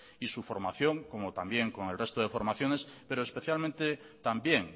y su formación y también con el resto de formaciones pero especialmente también